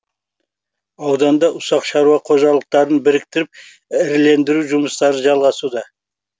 ауданда ұсақ шаруа қожалықтарын біріктіріп ірілендіру жұмыстары жалғасуда